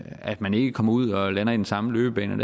at man ikke kommer ud og lander i den samme løbebane